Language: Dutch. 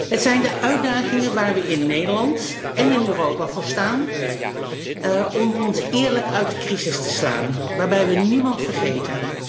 Het zijn de uitdagingen waar we in Nederland en in Europa voor staan om ons eerlijk uit de crisis te slaan, waarbij we niemand vergeten.